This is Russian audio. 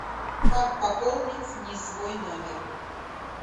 как пополнить не свой номер